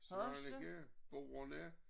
Svaneke Boderne